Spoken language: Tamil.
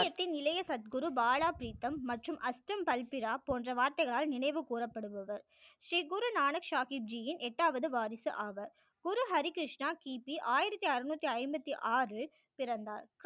சீக்கியத்தின் இளைய சத்குரு பாலா ப்ரிதம் மற்றும் அஸ்த்தம் பல்பிரா போன்ற வார்த்தைகளால் நினைவு கூறப்படுபவர் ஸ்ரீ குரு நானக் சாகிப் ஜி யின் எட்டாவது வாரிசு ஆவர் குரு ஹரி கிருஷ்ணா கிபி ஆயிரத்தி அறுநூற்று ஐம்பத்தி ஆறில் பிறந்தார்